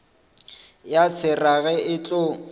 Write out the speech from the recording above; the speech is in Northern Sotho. ya se rage e tlo